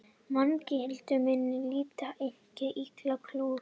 Manganhnyðlingar minna á lítið eitt ílangar kúlur.